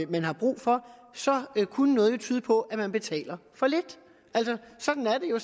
man har brug for kunne noget jo tyde på at man betaler for lidt altså sådan er det jo